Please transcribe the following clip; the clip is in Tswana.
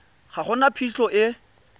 ga go na phitlho e